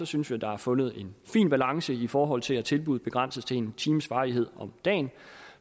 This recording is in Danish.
synes vi der er fundet en fin balance i forhold til at tilbuddet begrænses til en times varighed om dagen